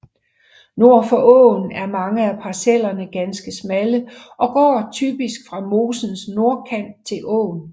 Nord for åen er mange af parcellerne ganske smalle og går typisk fra mosens nordkant til åen